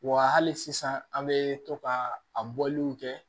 Wa hali sisan an bɛ to ka a bɔliw kɛ